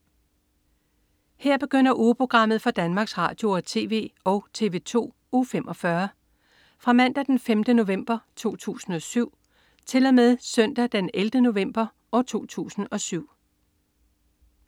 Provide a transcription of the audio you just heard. Her begynder ugeprogrammet for Danmarks Radio- og TV og TV2 Uge 45 Fra Mandag den 5. november 2007 Til Søndag den 11. november 2007